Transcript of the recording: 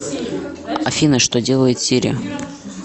афина что делает сири